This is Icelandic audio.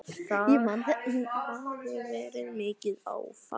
Það hafi verið mikið áfall.